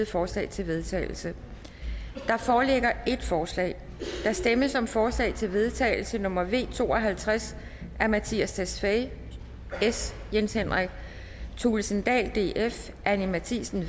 forslag til vedtagelse der foreligger et forslag der stemmes om forslag til vedtagelse nummer v to og halvtreds af mattias tesfaye jens henrik thulesen dahl anni matthiesen